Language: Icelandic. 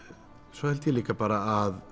svo held ég líka bara að